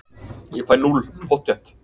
Ég fæ núll, pottþétt.